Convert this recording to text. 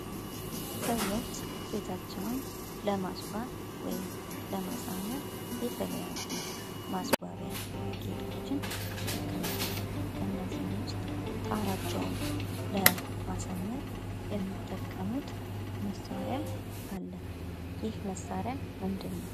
ሰዎች ቤታቸዉን ለማስዋብ ወይም ለማሳመር የተለያዩ ማስዋቢያ ጌጦችን ይጠቀማሉ። ከእነዚህም ዉስጥ ጣሪያቸዉን ለማሳመር የሚጠቀሙት መሳሪያ አለ። ይህ መሳሪያ ምንድን ነዉ?